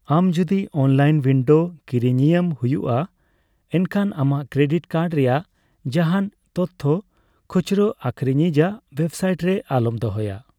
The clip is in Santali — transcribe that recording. ᱟᱢ ᱡᱩᱫᱤ ᱚᱱᱞᱟᱭᱤᱱ ᱩᱭᱤᱱᱰᱳ ᱠᱤᱨᱤᱧ ᱤᱭᱳᱢ ᱦᱩᱭᱩᱜᱼᱟ, ᱮᱱᱠᱷᱟᱱ ᱟᱢᱟᱜ ᱠᱨᱮᱰᱤᱴ ᱠᱟᱨᱰ ᱨᱮᱭᱟᱜ ᱡᱟᱦᱟᱱ ᱛᱚᱛᱛᱷᱚ ᱠᱷᱩᱪᱨᱟ ᱟᱹᱠᱷᱨᱤᱧᱤᱡᱼᱟᱜ ᱚᱭᱮᱵᱥᱟᱭᱤᱴ ᱨᱮ ᱟᱞᱚᱢ ᱫᱚᱦᱚᱭᱟ ᱾